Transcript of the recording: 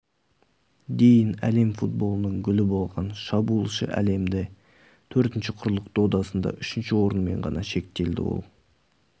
дейін әлем футболының гүлі болған шабуылшы әлемде төртінші құрлық додасында үшінші орынмен ғана шектелді ол